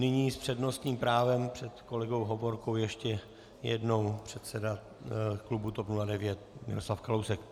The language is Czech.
Nyní s přednostním právem před kolegou Hovorkou ještě jednou předseda klubu TOP 09 Miroslav Kalousek.